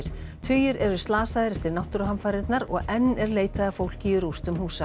tugir eru slasaðir eftir náttúruhamfarirnar og enn er leitað að fólki í rústum húsa